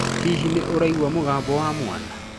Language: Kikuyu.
Hihi nĩ ũraigua mũgambo wa mwaana?